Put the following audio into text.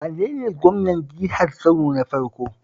Wane ne gwamnan jihar Kano na farko?